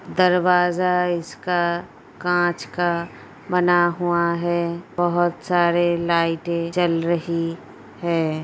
दरवाजा इसका कांच का बना हुआ है बहुत सारे लाइटे जल रही है।